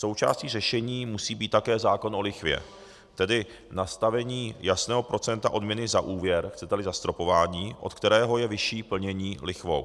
Součástí řešení musí být také zákon o lichvě, tedy nastavení jasného procenta odměny za úvěr, chcete-li zastropování, od kterého je vyšší plnění lichvou.